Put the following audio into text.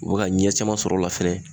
U bɛ ka ɲɛ caman sɔrɔ o la fɛnɛ